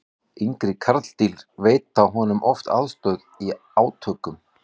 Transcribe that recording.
yngri karldýr veita honum oft aðstoð í átökum